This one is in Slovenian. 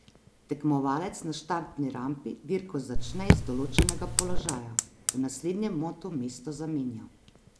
Tekmovalec na štartni rampi dirko začne iz določenega položaja, v naslednjem motu mesto zamenja.